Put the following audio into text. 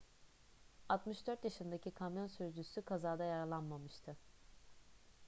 64 yaşındaki kamyon sürücüsü kazada yaralanmamıştı